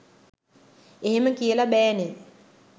එහෙම කියල බෑනේ